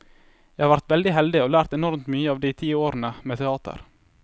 Jeg har vært veldig heldig og lært enormt mye av de ti årene med teater.